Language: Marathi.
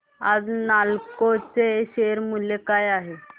आज नालको चे शेअर मूल्य काय आहे